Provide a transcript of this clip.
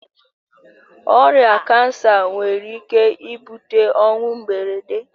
Ọrịa kansa nwere ike ibute ọnwụ mberede.